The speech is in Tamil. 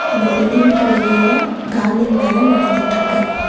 இந்த பில்டிங்கு வெளில கார்ட்னிங் வேல நடந்துட்ருக்கு.